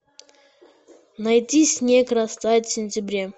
найди снег растает в сентябре